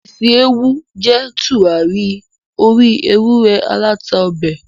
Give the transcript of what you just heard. Isi Ewu jé turari ori ewurẹ alata ọbẹ